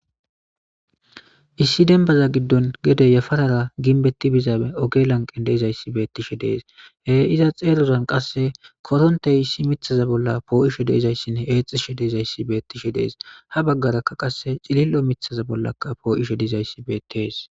Issi denbaza giddon gede yafarara ginbetti bizaabe oge lanqen deizayssi beettishe dees hee iza xeerodan qasse korontey issi mithaza bolla poo7ishe deezayssinne eexishe deezayssi beettishe dees ha baggarakka qasse cilillo mithaza bollakka poo7ishe diizayssi beetees.